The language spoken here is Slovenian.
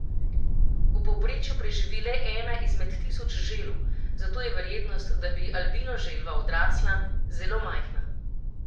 V povprečju preživi le ena izmed tisoč želv, zato je verjetnost, da bi albino želva odrasla, zelo majhna.